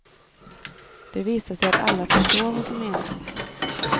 Det visar sig att alla förstår vad som menas.